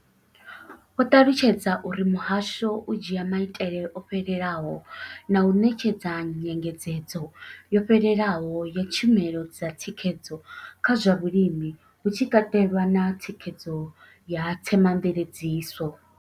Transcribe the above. Vho ṱalutshedza uri muhasho u dzhia maitele o fhelelaho na u ṋetshedza nyengedzedzo yo fhelelaho ya tshumelo dza thikhedzo kha zwa vhulimi, hu tshi katelwa na thikhedzo ya themamveledziso.